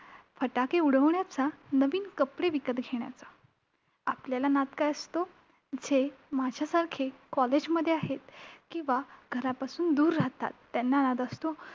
फटाके उडविण्याचा, नवीन कपडे विकत घेण्याचा. आपल्याला नाद काय असतो? जे माझ्यासारखे college मध्ये आहेत किंवा घरापासून दूर राहतात, त्यांना नाद असतो